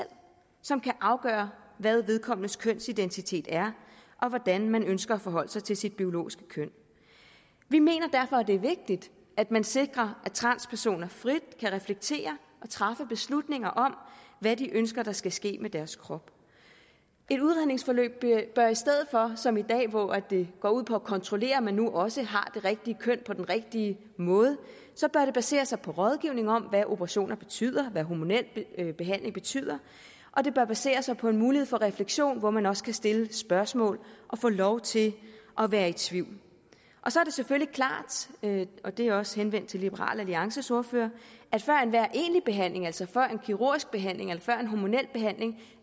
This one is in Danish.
som kan afgøre hvad vedkommendes kønsidentitet er og hvordan man ønsker at forholde sig til sit biologiske køn vi mener derfor at det er vigtigt at man sikrer at transpersoner frit kan reflektere og træffe beslutninger om hvad de ønsker der skal ske med deres krop et udredningsforløb bør i stedet for som i dag hvor det går ud på at kontrollere om man nu også har det rigtige køn på den rigtige måde basere sig på rådgivning om hvad operationer betyder hvad hormonel behandling betyder og det bør basere sig på en mulighed for refleksion hvor man også kan stille spørgsmål og få lov til at være i tvivl så er det selvfølgelig klart og det er også henvendt til liberal alliances ordfører at før enhver egentlig behandling altså før en kirurgisk behandling eller før en hormonel behandling